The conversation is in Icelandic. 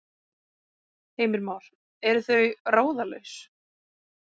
Heimir Már: Eru þau ráðalaus?